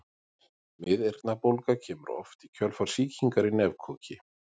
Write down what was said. Miðeyrnabólga kemur oft í kjölfar sýkingar í nefkoki.